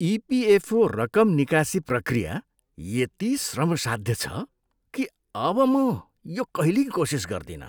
EPFO रकम निकासी प्रक्रिया यति श्रमसाध्य छ कि अब म यो कहिल्यै कोसिस गर्दिनँ।